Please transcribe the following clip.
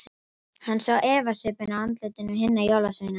Hann sá efasvipinn á andlitum hinna jólasveinana.